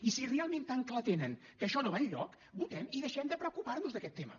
i si realment tan clar tenen que això no va enlloc votem i deixem de preocupar nos d’aquest tema